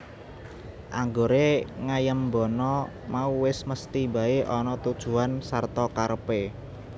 Anggore ngaiembana mau wis mesthi bae ana tujuan sarta karepe